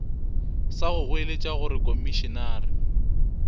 sa go goeletša gore komišenare